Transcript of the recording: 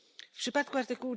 W przypadku art.